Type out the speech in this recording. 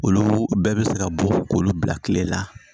Olu bɛɛ bɛ se ka bɔ k'olu bila kile la